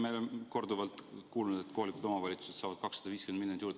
Me oleme korduvalt kuulnud, et kohalikud omavalitsused saavad 250 miljonit eurot juurde.